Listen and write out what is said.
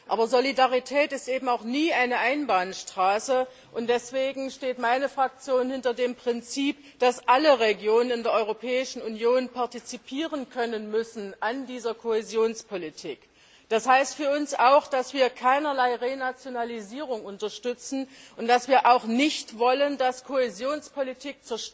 Aber Solidarität ist eben auch nie eine Einbahnstraße, und deswegen steht meine Fraktion hinter dem Prinzip, dass alle Regionen in der Europäischen Union an dieser Kohäsionspolitik partizipieren können müssen. Das heißt für uns auch, dass wir keinerlei Renationalisierung unterstützen und dass wir auch nicht wollen, dass Kohäsionspolitik